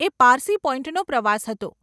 એ પારસી પોઈન્ટનો પ્રવાસ હતો.